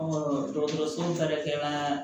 dɔgɔtɔrɔso baarakɛyɔrɔ la